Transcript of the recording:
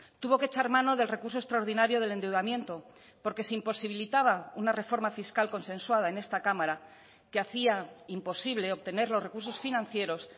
tuvo que echar mano del recurso extraordinario del endeudamiento porque se imposibilitaba una reforma fiscal consensuada en esta cámara que hacía imposible obtener los recursos financieros